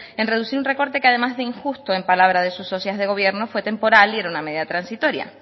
en reducir un recorte que además de injusto en palabras de sus socias de gobierno fue temporal y era una medida transitoria